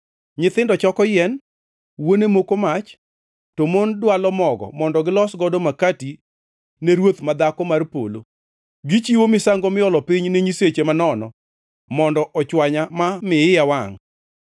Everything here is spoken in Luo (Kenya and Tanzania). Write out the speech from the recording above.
Nyithindo choko yien, wuone moko mach, to mon dwalo mogo mondo gilos godo makati ne Ruoth ma Dhako mar Polo. Gichiwo misango miolo piny ne nyiseche manono mondo ochwanya ma mi iya wangʼ.